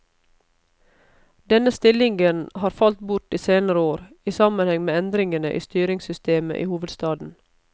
Denne stillingen har falt bort i de senere år, i sammenheng med endringene i styringssystemet i hovedstaden.